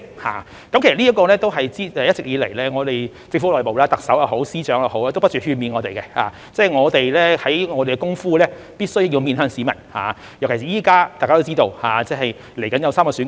其實在這方面，一直以來我們政府內部，特首也好，司長也好，都不斷勸勉我們，我們做的工夫必須面向市民，尤其是現在，大家都知道，稍後將有3項選舉。